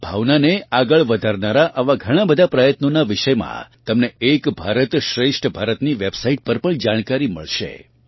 આ ભાવનાને આગળ વધારનારાં આવાં ઘણાં બધાં પ્રયત્નોનાં વિષયમાં તમને એક ભારત શ્રેષ્ઠ ભારત ની વેબસાઇટ પર પણ જાણકારી મળશે